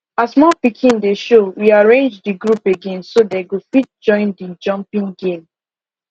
as more piking dey show we arrange the group again so dey go fit join the jumpping game